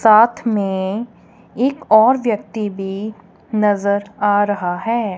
साथ में एक और व्यक्ति भी नजर आ रहा है।